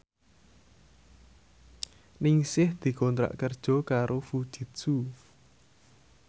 Ningsih dikontrak kerja karo Fujitsu